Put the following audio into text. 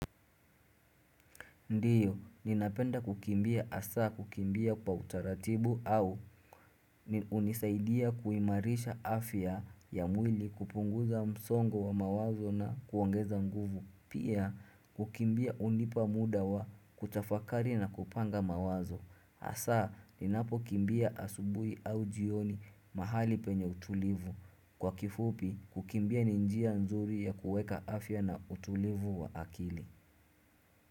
Ndiyo, ninapenda kukimbia asaa kukimbia kwa utaratibu au ni unisaidia kuimarisha afya ya mwili kupunguza msongo wa mawazo na kuongeza nguvu. Pia, kukimbia unipa muda wa kutafakari na kupanga mawazo. Asaa, ninapo kumbia asubui au jioni mahali penye utulivu. Kwa kifupi, kukimbia ninjia nzuri ya kueka afya na utulivu wa akili.